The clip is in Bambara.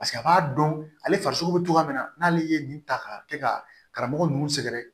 Paseke a b'a dɔn ale farisogo be cogoya min na n'ale ye nin ta ka kɛ ka karamɔgɔ nunnu sɛgɛrɛ